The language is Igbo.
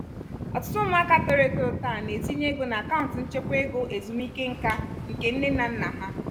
ọtụtụ ụmụaka toro eto taa na-etinye ego na akaụntụ nchekwa ego ezumike nka nke nne na nna ha